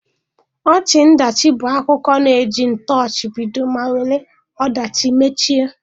Ọchị-ọdachi bụ ụdị akụkọ na-eji ntọchi bido ma were ọdachi mechie.